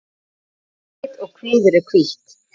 Andlit og kviður er hvítt.